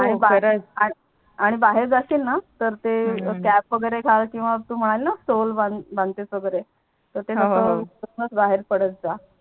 आणि बाहेर जासीलणा तर ते हम्म Cap वगेरे घ्याल किवा तु म्हणाली णा स्टोल बाणतेस वगेरे तर ते तस हो हो तस करूनच बाहेर पडतजा